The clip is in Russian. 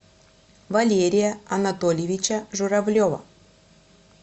валерия анатольевича журавлева